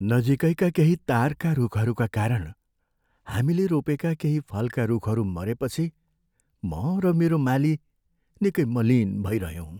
नजिकैका केही तारका रूखहरूका कारण हामीले रोपेका केही फलका रूखहरू मरेपछि म र मेरो माली निकै मलिन भइरह्यौँ।